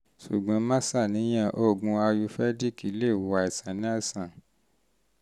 ṣùgbọ́n má ṣàníyàn; oògùn ayurvedic lè wo àìsàn náà sàn